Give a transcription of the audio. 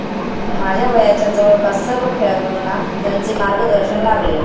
माझ्या वयाच्या जवळपास सर्व खेळाडूंना त्यांचे मार्गदर्शन लाभले.